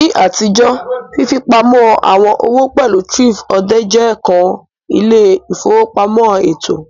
Ni atijo, fifipamọ awọn owo pẹlu thrift-odè je kan ile-ifowopamọ eto.